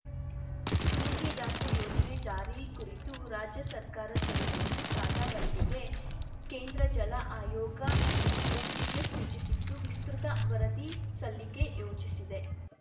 ಮೇಕೆದಾಟು ಯೋಜನೆ ಜಾರಿ ಕುರಿತು ರಾಜ್ಯ ಸರ್ಕಾರ ಸಲ್ಲಿಸಿತ್ತು ಸಾದಾ ವರದಿಗೆ ಕೇಂದ್ರ ಜಲ ಆಯೋಗ ಒಪ್ಪಿಗೆ ಸೂಚಿಸಿತ್ತು ವಿಸ್ತೃತ ವರದಿ ಸಲ್ಲಿಕೆ ಸೂಚಿಸಿದೆ